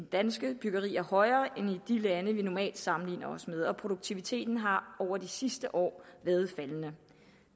danske byggeri er højere end i de lande vi normalt sammenligner os med og produktiviteten har over de sidste år været faldende